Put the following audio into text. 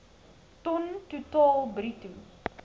ton totaal bruto